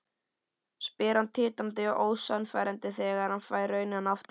spyr hann titrandi og ósannfærandi þegar hann fær rænuna aftur.